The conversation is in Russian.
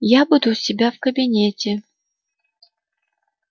я буду у себя в кабинете